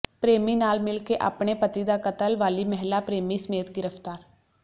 ਪ੍ਰੇਮੀ ਨਾਲ ਮਿਲ ਕੇ ਆਪਣੇ ਪਤੀ ਦਾ ਕਤਲ ਵਾਲੀ ਮਹਿਲਾ ਪ੍ਰੇਮੀ ਸਮੇਤ ਗਿਰਫ਼ਤਾਰ